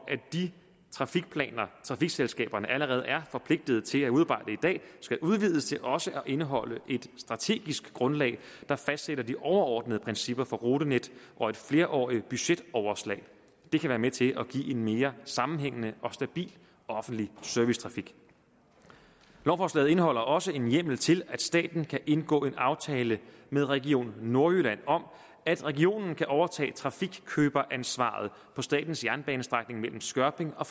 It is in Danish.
at de trafikplaner trafikselskaberne allerede er forpligtet til at udarbejde i dag skal udvides til også at indeholde et strategisk grundlag der fastsætter de overordnede principper for rutenet og et flerårigt budgetoverslag det kan være med til at give en mere sammenhængende og stabil offentlig servicetrafik lovforslaget indeholder også en hjemmel til at staten kan indgå en aftale med region nordjylland om at regionen kan overtage trafikkøberansvaret på statens jernbanestrækning mellem skørping og